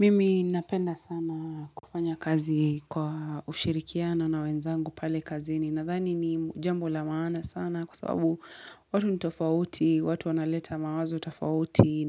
Mimi napenda sana kufanya kazi kwa ushirikiano na wenzangu pale kazini. Nadhani ni jambo la maana sana kwa sababu watu nitofauti, watu wanaleta mawazo tofauti.